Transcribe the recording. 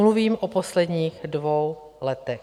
Mluvím o posledních dvou letech.